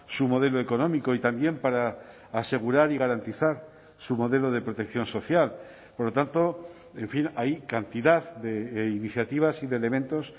su modelo económico y también para asegurar y garantizar su modelo de protección social por lo tanto en fin hay cantidad de iniciativas y de elementos